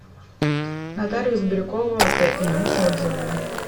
нотариус бирюкова тм отзывы